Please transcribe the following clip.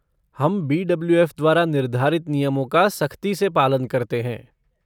हम बी.डब्लू.एफ़. द्वारा निर्धारित नियमों का सख्ती से पालन करते हैं।